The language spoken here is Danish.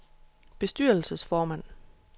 bestyrelsesformand